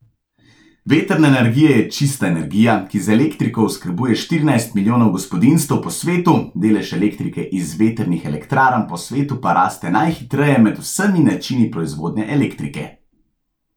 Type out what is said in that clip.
Vetrna energija je čista energija, ki z elektriko oskrbuje štirinajst milijonov gospodinjstev po svetu, delež elektrike iz vetrnih elektrarn po svetu pa raste najhitreje med vsemi načini proizvodnje elektrike.